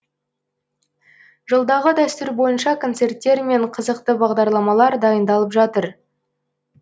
жылдағы дәстүр бойынша концерттер мен қызықты бағдарламалар дайындалып жатыр